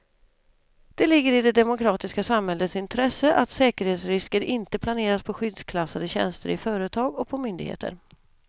Det ligger i det demokratiska samhällets intresse att säkerhetsrisker inte placeras på skyddsklassade tjänster i företag och på myndigheter.